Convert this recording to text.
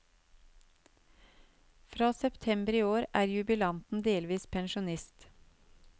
Fra september i år er jubilanten delvis pensjonist.